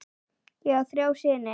Ég á þrjá syni.